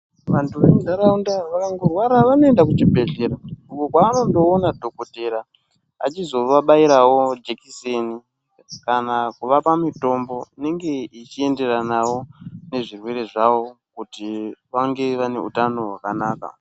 Vantu vemuntaraunda vakangorwara vanoenda kuchibhedhlera uko kwavanondoona dhokotera achizovabairawo jekiseni kana kuvapa mitombo inenge ichienderanawo nezvirwere zvawo kuti vange vane utano hwakanaka.